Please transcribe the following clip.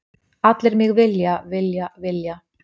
Allir mig vilja, vilja, vilja.